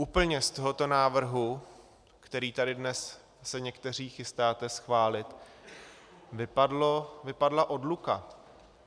Úplně z tohoto návrhu, který tady dnes se někteří chystáte schválit, vypadla odluka.